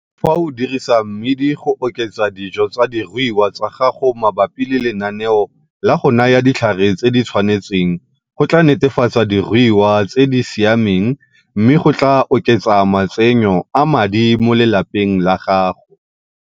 Fa o dirisa mmidi go oketsa dijo tsa diruiwa tsa gago mabapi le lenaneo la go naya ditlhare tse di tshwanetseng go tlaa netefatsa diruiwa tse di siameng me go tlaa oketsa matsenyo a madi mo lelapang la gago.